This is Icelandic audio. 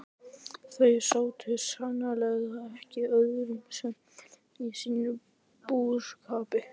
Þau sátu sannarlega ekki auðum höndum í sínum búskap.